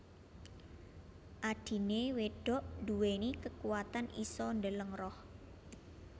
Adhine wedok nduweni kekuwatan isa ndeleng roh